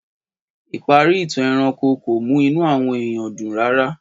Ìparí ìtàn ẹranko kò mú inù àwọn èèyàn dùn rárá